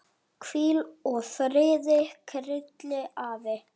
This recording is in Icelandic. Hvíl í friði, Krilli afi.